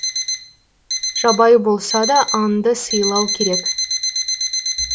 жабайы болса да аңды сыйлау керек